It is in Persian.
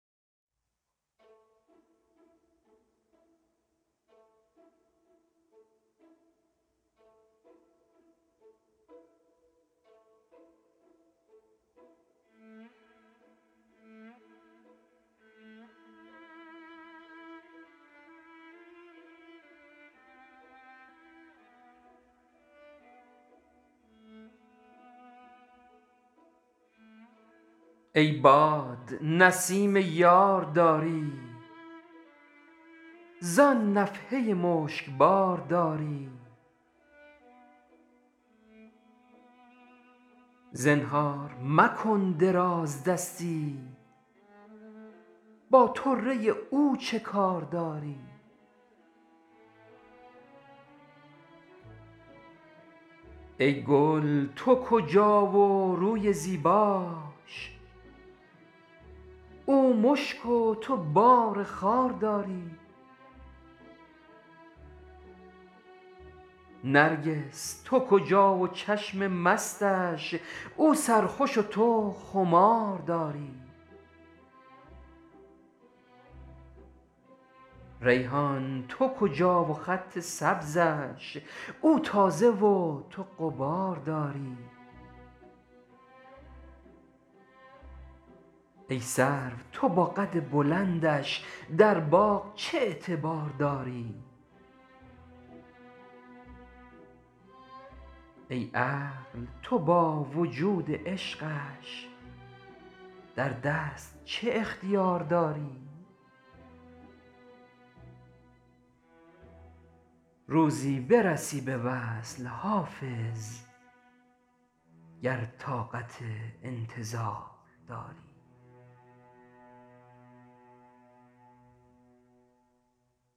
ای باد نسیم یار داری زآن نفحه مشکبار داری زنهار مکن درازدستی با طره او چه کار داری ای گل تو کجا و روی زیباش او مشک و تو بار خار داری نرگس تو کجا و چشم مستش او سرخوش و تو خمار داری ریحان تو کجا و خط سبزش او تازه و تو غبار داری ای سرو تو با قد بلندش در باغ چه اعتبار داری ای عقل تو با وجود عشقش در دست چه اختیار داری روزی برسی به وصل حافظ گر طاقت انتظار داری